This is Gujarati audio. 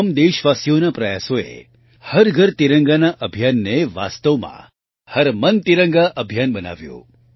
તમામ દેશવાસીઓના પ્રયાસોએ હર ઘર તિરંગા અભિયાનને વાસ્તવમાં હર મન તિરંગા અભિયાન બનાવ્યું